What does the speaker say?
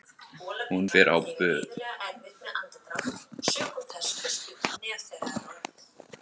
Hún fer á böll!